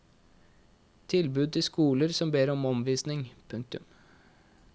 Tilbud til skoler som ber om omvisning. punktum